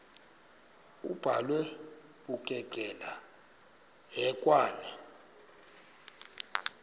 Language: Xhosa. abhalwe bukekela hekwane